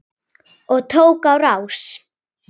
Og tók á rás.